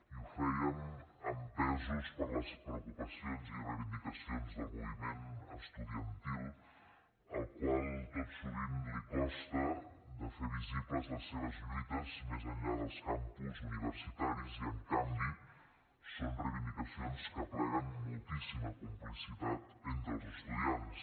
i ho fèiem empesos per les preocupacions i reivindicacions del moviment estudiantil al qual tot sovint li costa de fer visibles les seves lluites més enllà dels campus universitaris i en canvi són reivindicacions que apleguen moltíssima complicitat entre els estudiants